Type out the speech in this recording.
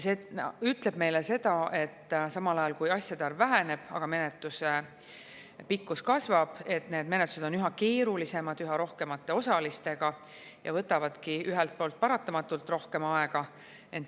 See ütleb meile seda, et kui asjade arv väheneb, aga menetluse pikkus samal ajal kasvab, siis menetlused on üha keerulisemad, üha rohkemate osalistega ja võtavadki ühelt poolt paratamatult rohkem aega.